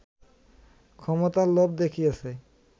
ক্ষমতার লোভ দেখিয়েছে